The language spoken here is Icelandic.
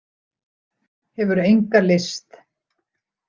Hefur enga lyst.